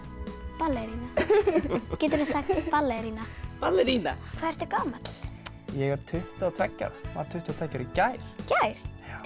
ballerína geturðu sagt ballerína ballerína hvað ertu gamall ég er tuttugu og tveggja ára varð tuttugu og tveggja ára í gær í gær til